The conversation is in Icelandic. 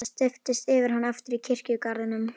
Það steyptist yfir hann aftur í kirkjugarðinum.